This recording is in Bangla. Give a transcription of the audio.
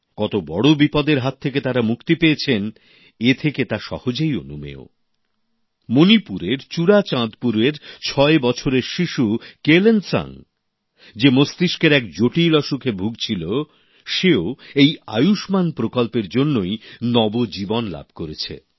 কত বড় বিপদের হাত থেকে তারা মুক্তি পেয়েছে এ থেকে তা সহজেই অনুমেয় মণিপুরের চুড়াচাঁদপুরের ছয় বছরের শিশু কেলেনসাং যে মস্তিষ্কের এক জটিল অসুখে ভুগছিল সেও এই আয়ুষ্মান প্রকল্পের জন্যেই নবজীবন লাভ করেছে